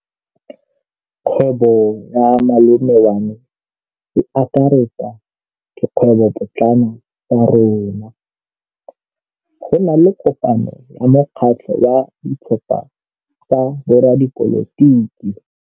Kgwêbô ya malome wa me e akaretsa dikgwêbôpotlana tsa rona. Go na le kopanô ya mokgatlhô wa ditlhopha tsa boradipolotiki.